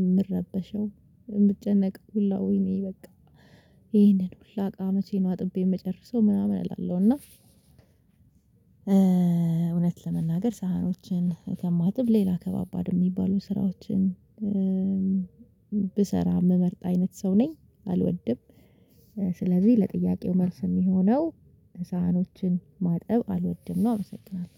የምረበሸው። የምትጨነቅ ሁላ ወይኔ በቃ ይሄንን ሁሉ እቃዎቼን አጥቤ የመጨረሰው ምናምን እላለሁ። እና እውነት ለመናገር ሳህኖችን ከማጥብ ሌላ ከባባድ የሚባሉ ስራዎችን ብሰራ የምመርጥ አይነት ሰው ነኝ አልወድም። ስለዚህ ለጥያቄው መልስ የሚሆነው ሳህኖችን ማጠብ አልወድም ነው። አመሰግናለሁ።